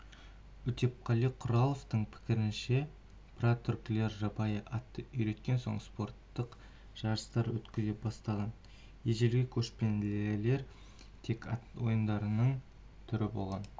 өтепқали құраловтың пікірінше прототүркілер жабайы атты үйреткен соң спорттық жарыстар өткізе бастаған ежелгі көшпелілерде тек ат ойындарының түрі болған